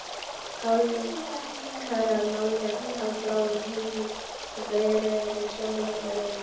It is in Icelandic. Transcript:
Hálfkarað málverk af bláum himni og blóðrauðri sól á gólfinu.